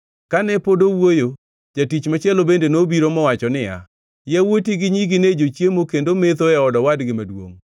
Kane pod owuoyo, jatich machielo bende nobiro mowacho niya, “Yawuoti gi nyigi ne jochiemo kendo metho e od owadgi maduongʼ,